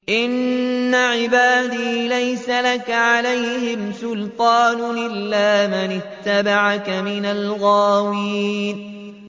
إِنَّ عِبَادِي لَيْسَ لَكَ عَلَيْهِمْ سُلْطَانٌ إِلَّا مَنِ اتَّبَعَكَ مِنَ الْغَاوِينَ